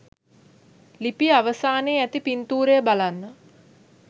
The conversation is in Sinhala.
ලිපිය අවසානයේ ඇති පින්තූරය බලන්න.